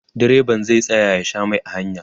direban zai tsaya ya Sha Mai a hanya